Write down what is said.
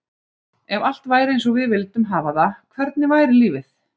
Ef allt væri eins og við vildum hafa það, hvernig væri lífið?